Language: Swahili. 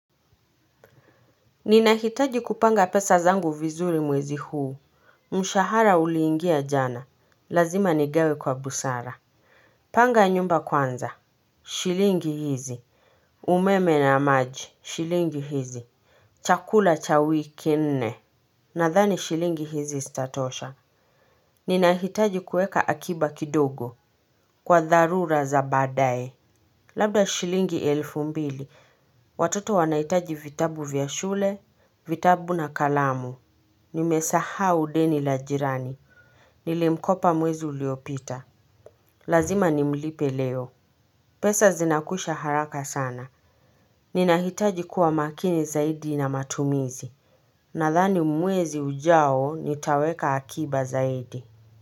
Ninahitaji kupanga pesa zangu vizuri mwezi huu. Mshahara uliingia jana, lazima nigawe kwa busara. Panga nyumba kwanza, shilingi hizi. Umeme na maji, shilingi hizi. Chakula cha wiki nne. Nadhani shilingi hizi zitatosha. Ninahitaji kuweka akiba kidogo kwa dharura za baadaye. Labda shilingi elfu mbili. Watoto wanahitaji vitabu vya shule. Vitabu na kalamu. Nimesahau deni la jirani. Nilimkopa mwezi uliopita, lazima nimlipe leo. Pesa zinakwisha haraka sana. Ninahitaji kuwa makini zaidi na matumizi. Nadhani mwezi ujao nitaweka akiba zaidi.